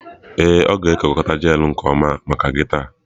Ee, ọ ga-ekekọta gele ahụ nke ọma maka gị taa.